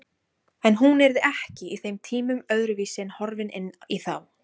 En hún yrði ekki í þeim tímum öðruvísi en horfin inn í þá.